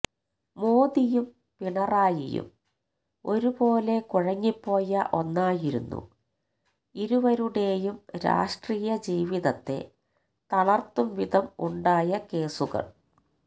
മോദിയും പിണറായിയും ഒരുപോലെ കുഴങ്ങിപ്പോയ ഒന്നായിരുന്നു ഇരുവരുടെയും രാഷ്ട്രീയ ജീവിതത്തെ തളർത്തുംവിധം ഉണ്ടായ കേസുകൾ